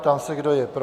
Ptám se, kdo je pro.